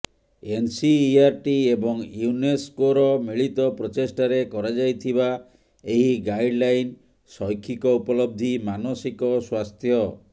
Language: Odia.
ଏନସିଇଆରଟି ଏବଂ ୟୁନେସକୋର ମିଳିତ ପ୍ରଚେଷ୍ଟାରେ କରାଯାଇଥିବା ଏହି ଗାଇଡଲାଇନ ଶୈକ୍ଷିକ ଉପଲବ୍ଧୀ ମାନସିକ ସ୍ୱାସ୍ଥ୍ୟ